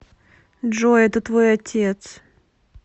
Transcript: джой это твой отец